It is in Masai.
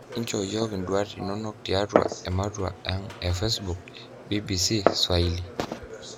Enchoo iyiok iduat inonok tiatua ematua ang e facebook, bbcswhaili.